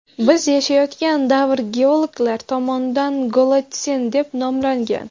Biz yashayotgan davr geologlar tomonidan golotsen deb nomlangan.